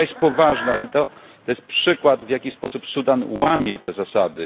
Sprawa jest poważna i to jest przykład, w jaki sposób Sudan łamie te zasady.